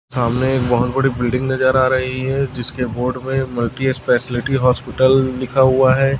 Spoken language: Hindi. सामने एक बहोत बड़ी बिल्डिंग नजर आ रही है जिसके बोर्ड पे मल्टीस्पेशलिटी हॉस्पिटल लिखा हुआ है।